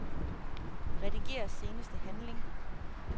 Rediger seneste handling.